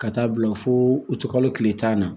Ka taa bila fo u tɛ kalo kile tan na